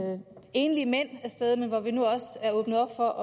enlige mænd af sted men hvor vi nu også har åbnet op for